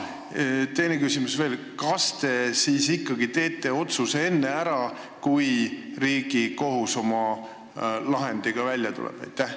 Ja teine küsimus veel: kas te ikkagi teete otsuse enne ära, kui Riigikohus oma lahendiga välja tuleb?